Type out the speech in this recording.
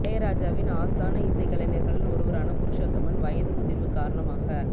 இளையராஜவின் ஆஸ்தான இசைக் கலைஞர்களில் ஒருவரான புருஷோத்தமன் வயது முதிர்வு காரணமாக